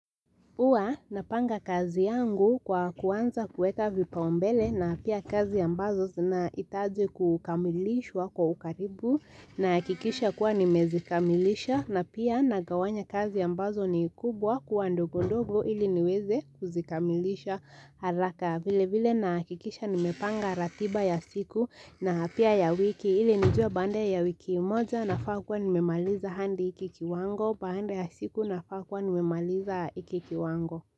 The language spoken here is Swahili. Huwa napanga kazi yangu kwa kuanza kuweka vipaumbele na pia kazi ambazo zina hitaji kukamilishwa kwa ukaribu na hakikisha kuwa nimezikamilisha na pia nagawanya kazi ambazo ni kubwa kuwa ndogo ndogo ili niweze kuzikamilisha haraka. Vile vile na hakikisha nimepanga ratiba ya siku na pia ya wiki ili nijue baada ya wiki moja nafaa kuwa nimemaliza hadi hiki kiwango. Baada ya siku nafaa kuwa nimemaliza hiki kiwango.